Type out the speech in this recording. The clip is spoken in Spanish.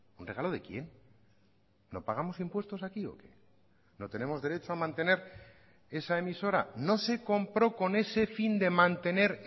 un regalo de quién no pagamos impuestos aquí o qué no tenemos derecho a mantener esa emisora no se compró con ese fin de mantener